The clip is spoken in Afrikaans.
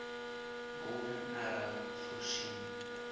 golden arrow voorsien